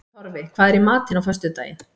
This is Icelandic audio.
Torfi, hvað er í matinn á föstudaginn?